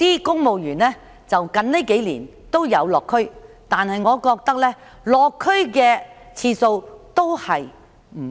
公務員近年都有落區，但我認為次數不足。